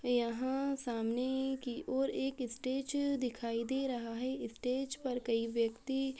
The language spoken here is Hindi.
यहाँ सामने की ओर एक स्टेज दिखाई दे रहा है स्टेज पर कई व्यक्ति--